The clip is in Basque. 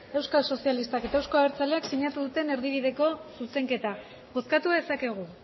euskal sozialistak eta euzko abertzaleak sinatu duten erdibideko zuzenketa bozkatu dezakegu